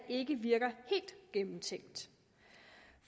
ikke virker helt gennemtænkt